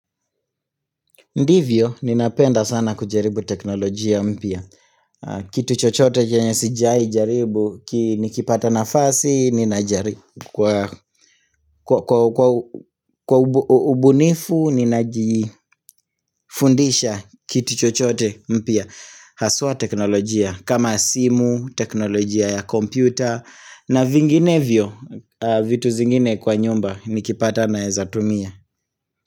Ndivyo, ninapenda sana kujaribu teknolojia mpya. Kitu chochote chenye sijwahi jaribu, nikipata nafasi ninajari kwa Kwa ubu ubunifu ninajifundisha kitu chochote mpya. Haswa teknolojia kama simu, teknolojia ya kompyuta, na vinginevyo, vitu zingine kwa nyumba nikipata nawezatumia.